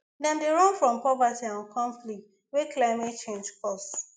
dem dey run from poverty and conflict wey climate change cause